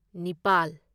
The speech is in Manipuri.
ꯅꯤꯄꯥꯜ